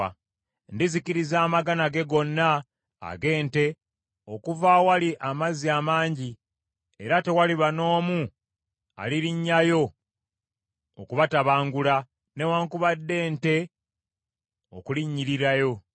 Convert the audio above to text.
Ndizikiriza amagana ge gonna ag’ente okuva awali amazzi amangi, era tewaliba n’omu alirinnyayo okubatabangula newaakubadde ente okulinnyirirayo.